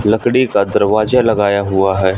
लकड़ी का दरवाजा लगाया हुआ है।